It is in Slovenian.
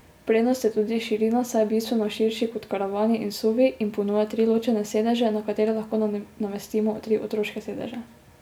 Prednost je tudi širina, saj je bistveno širši kot karavani in suvi in ponuja tri ločene sedeže na katere lahko namestimo tri otroške sedeže.